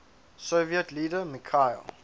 soviet leader mikhail